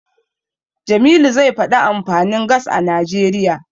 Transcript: Jamilu zai faɗi amfanin Gas a Najeriya.